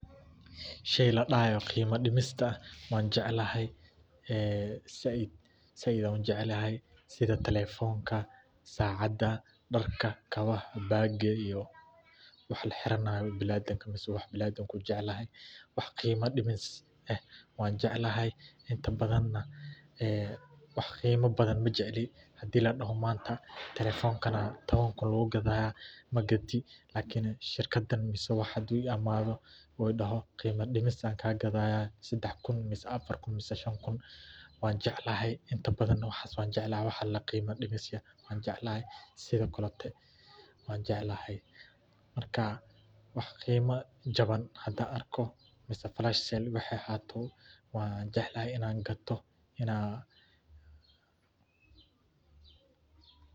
Shayga la yiraahdo qiimo dhimista waan jeclahay. Zaid ayaan u jeclahay, sida taleefannada, saacadda, dharka, kabaha, boorsada, iyo waxa la xiranayo. Bani’aadamka wuxuu jecel yahay wax qiimo dhimis leh, anigana waan jeclahay. Inta badan wax qiimo badan ma jecli. Haddii la yiraahdo maanta taleefankan waxaa lagu rabaa 10 kun, laakin shirkad ama qof hadduu yimaado oo uu yiraahdo qiimo dhimis ayaan kaga gadayaa 3 kun, 4 kun ama 5 kun — waan jeclahay. Inta badan wax la yiraahdo qiimo dhimis waan jeclahay. Marka wax qiimo jaban haddii aan arko, mise flash sale haddii aan arko, waan jeclahay inaan gato